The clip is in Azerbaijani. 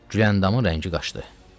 Güləndamın rəngi qaşdı.